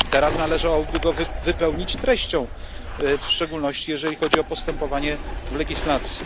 Teraz należałoby go wypełnić treścią, w szczególności jeżeli chodzi o postępowanie w legislacji.